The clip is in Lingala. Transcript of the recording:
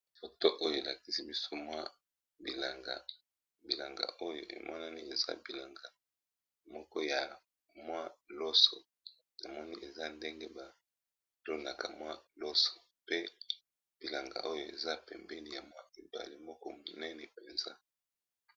Foto oyo elakisi biso mwa bilanga, bilanga oyo emonani eza bilanga moko ya mwa loso. Namoni eza ndenge ba tonaka mwa loso, pe bilanga oyo eza pembeni ya mwa ebale moko monene mpenza.